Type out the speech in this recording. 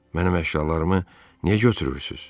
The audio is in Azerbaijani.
Mənim əşyalarımı niyə götürürsüz?